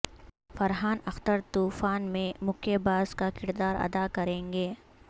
فرحان اخترطوفان میں مکے باز کا کردار ادا کریں گے